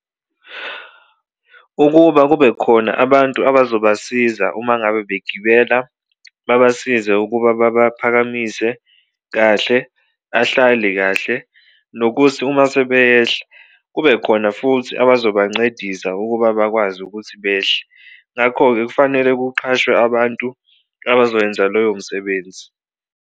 Ukuba kube khona abantu abazobasiza uma ngabe begibela, babasize ukuba babaphakamise kahle ahlale kahle, nokuthi uma sebeyehla kube khona futhi abazobancedisa ukuba bakwazi ukuthi behle. Ngakho-ke, kufanele kuqhashwe abantu abazoyenza loyo msebenzi